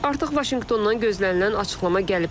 Artıq Vaşinqtondan gözlənilən açıqlama gəlib.